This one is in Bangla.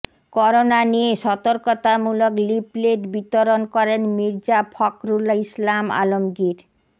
করোনা নিয়ে সতর্কতামূলক লিফলেট বিতরণ করেন মির্জা ফখরুল ইসলাম আলমগীর